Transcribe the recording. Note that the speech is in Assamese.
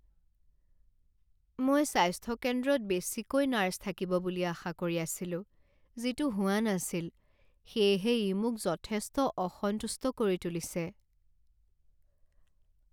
মই স্বাস্থ্য কেন্দ্ৰত বেছিকৈ নাৰ্ছ থাকিব বুলি আশা কৰি আছিলো যিটো হোৱা নাছিল, সেয়েহে ই মোক যথেষ্ট অসন্তুষ্ট কৰি তুলিছে।